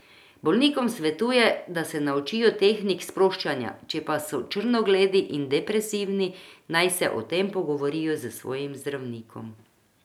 Bolnikom svetuje, da se naučijo tehnik sproščanja, če pa so črnogledi in depresivni, naj se o tem pogovorijo s svojim zdravnikom.